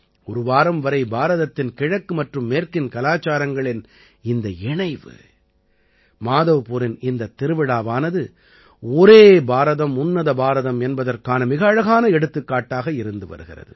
ஒரு வாரம் வரை பாரதத்தின் கிழக்கு மற்றும் மேற்கின் கலாச்சாரங்களின் இந்த இணைவு மாதவ்பூரின் இந்தத் திருவிழாவானது ஒரே பாரதம் உன்னத பாரதம் என்பதற்கான மிக அழகான எடுத்துக்காட்டாக இருந்து வருகிறது